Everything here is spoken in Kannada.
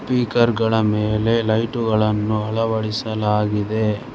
ಸ್ಪೀಕರ್ ಗಳ ಮೇಲೆ ಲೈಟುಗಳನ್ನು ಅಳವಡಿಸಲಾಗಿದೆ.